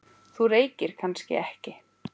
Þú reykir kannski ekki?